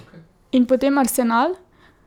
In potem Arsenal?